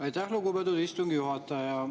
Aitäh, lugupeetud istungi juhataja!